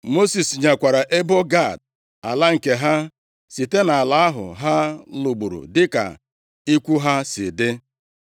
Mosis nyekwara ebo Gad ala nke ha site nʼala ahụ ha lụgburu, dịka ikwu ha si dị.